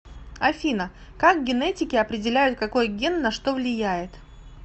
афина как генетики определяют какой ген на что влияет